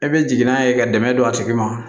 E bɛ jigin n'a ye ka dɛmɛ don a tigi ma